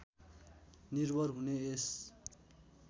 निर्भर हुने यस